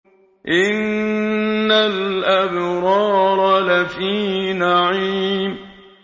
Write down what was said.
إِنَّ الْأَبْرَارَ لَفِي نَعِيمٍ